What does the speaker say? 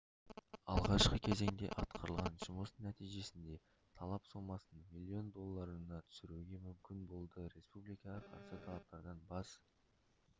алғашқы кезеңде атқарылған жұмыс нәтижесінде талап сомасын миллион долларына түсіруге мүмкін болды республикаға қарсы талаптардан бас